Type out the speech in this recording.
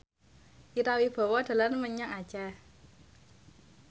Ira Wibowo dolan menyang Aceh